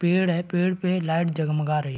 पेड़ है पेड़ पे लाइट जगमगा रही --